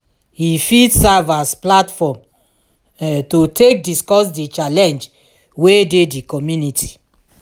e fit serve as platform to take discuss di challenge wey dey di community